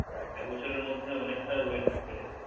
একবছরের মধ্যে অনেকটা Wait বেড়ে গেলো